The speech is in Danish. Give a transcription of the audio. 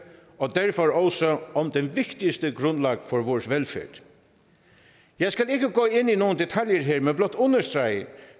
og derfor også om den vigtigste del af grundlaget for vores velfærd jeg skal ikke gå ind i nogle detaljer her men blot understrege